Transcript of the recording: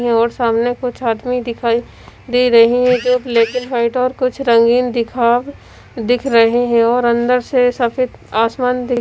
और सामने कुछ आदमी दिखाई दे रहे है जो ब्लैक एंड व्हाइट और कुछ रंगीन दिखा दिख रहे हैं और अंदर से सफेद आसमान दी--